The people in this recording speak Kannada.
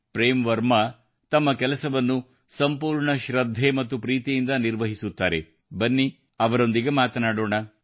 ಪ್ರೇಮ್ ವರ್ಮಾ ಅವರು ತಮ್ಮ ಕೆಲಸವನ್ನು ಸಂಪೂರ್ಣ ಶ್ರದ್ಧೆ ಮತ್ತು ಪ್ರೀತಿಯಿಂದ ನಿರ್ವಹಿಸುತ್ತಾರೆ ಬನ್ನಿ ಅವರೊಂದಿಗೆ ಮಾತಾಡೋಣ